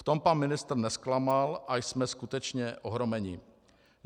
V tom pan ministr nezklamal a jsme skutečně ohromeni.